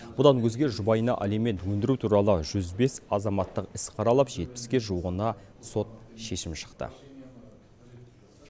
бұдан өзге жұбайына алимент өндіру туралы жүз бес азаматтық іс қаралып жетпіске жуығына сот шешімі шықты